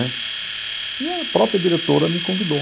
Né e a própria diretora me convidou.